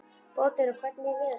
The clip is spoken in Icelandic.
Bótólfur, hvernig er veðurspáin?